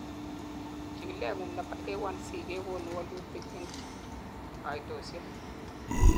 chikilet ngung nebo A1C kegonu wolutik en kaitosiek